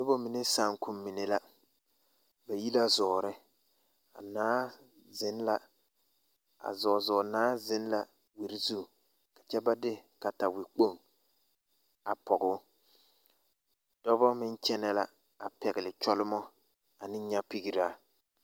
Noba mine saakommine la ba yi la zɔɔre a zɔɔzɔɔnaa zeŋ la wiri zu kyɛ ka ba de katawekpoŋ pɔɡe o dɔbɔ meŋ kyɛnɛ la pɛɡele kyɔlemɔ ane nyapeɡeraa.